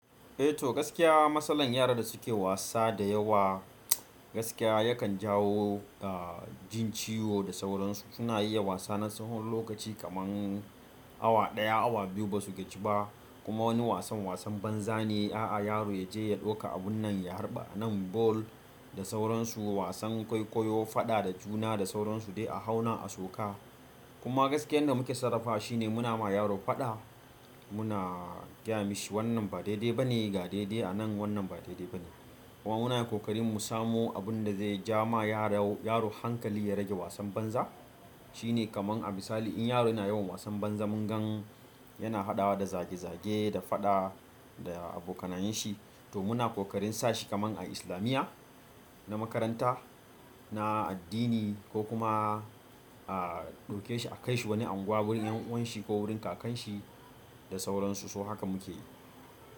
Eh to gaskiya matsalan yara da suke wasa da yawa gaskiya yakan jawo a jin ciwo da sauran su suna iya wasa na tsahon lokaci kaman awa ɗaya awa biyu basu gaji ba kuma wani wasan wasan banza ne a'a yaro yaje ya ɗauka abun nan ya harba nan ball da sauransu wasan kwaikwayo faɗa da juna da sauransu dai a hauna a soka. Kuma gaskiyan da muke sarrafa shine muna ma yaro faɗa muna gayami shi wannan ba daidai ba ne ga daidai a nan wannan ba daidai ba ne. Kuma muna ƙoƙarin mu samu abun da zai ja ma yaro yaro hankali ya rage wasan banza shine kaman a misali in yaro yana yawan wasan banza mun gan yana haɗawa da zage zage da faɗa da abokanayen shi to muna ƙoƙarin sashi kaman a islamiyya na makaranta na addini ko kuma a ɗauke shi a kai shi wani unguwa ƴan uwanshi ko wurin kakanshi da sauran su so haka muke yi.